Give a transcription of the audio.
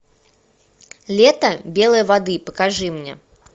лето белой воды покажи мне